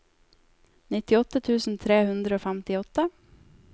nittiåtte tusen tre hundre og femtiåtte